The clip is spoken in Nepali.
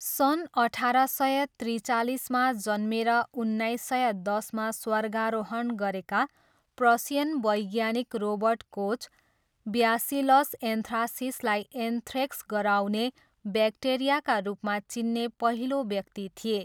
सन् अठार सय त्रिचालिसमा जन्मेर उन्नाइस सय दसमा स्वर्गारोहण गरेका प्रसियन वैज्ञानिक रोबर्ट कोच ब्यासिलस एन्थ्रासिसलाई एन्थ्रेक्स गराउने ब्याक्टेरियाका रूपमा चिन्ने पहिलो व्यक्ति थिए।